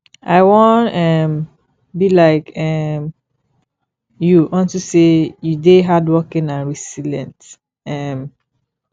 i wan um be like um you unto say you dey hardworking and resilient um